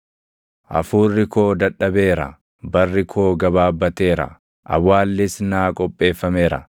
Hafuurri koo dadhabeera; barri koo gabaabbateera; awwaallis naa qopheeffameera.